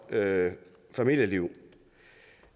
familieliv